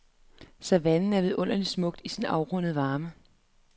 Savannen er vidunderligt smuk i sin afrundede varme.